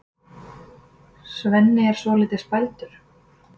Svenni er svolítið spældur.